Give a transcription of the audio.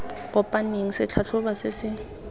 kopaneng se tlhatlhoba se se